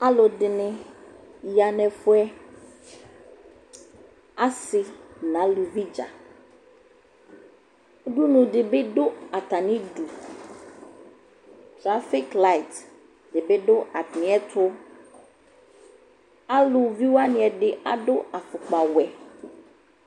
Alʋdɩnɩ ya nʋ ɛfʋ yɛ Asɩ nʋ aluvi dza Udunu dɩ bɩ dʋ atamɩdu Dzasik layɩt dɩ bɩ dʋ atamɩɛtʋ Aluvi wanɩ ɛdɩ adʋ afʋkpawɛ